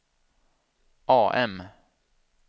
AM